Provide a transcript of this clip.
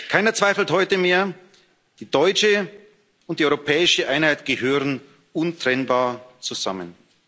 Keiner zweifelt heute mehr Die deutsche und die europäische Einheit gehören untrennbar zusammen.